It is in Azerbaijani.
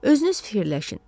Özünüz fikirləşin.